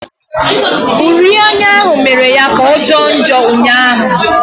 Uri anya ahụ mere ya kà ọ jọọ njọ ụnyaahụ.